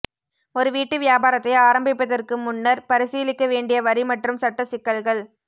ஒரு வீட்டு வியாபாரத்தை ஆரம்பிப்பதற்கு முன்னர் பரிசீலிக்க வேண்டிய வரி மற்றும் சட்ட சிக்கல்கள்